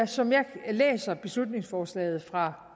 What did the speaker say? som jeg læser beslutningsforslaget fra